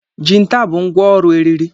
Jinta bụ ngwá ọrụ eriri.